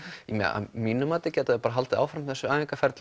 að mínu mati gætu þau haldið áfram þessu